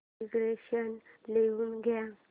dictation लिहून घे